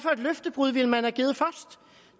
løftebrud man